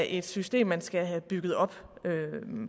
et system man skal have bygget op